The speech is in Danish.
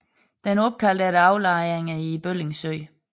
Den er opkaldt efter aflejringer i Bølling Sø